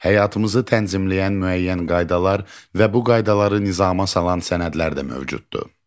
Həyatımızı tənzimləyən müəyyən qaydalar və bu qaydaları nizama salan sənədlər də mövcuddur.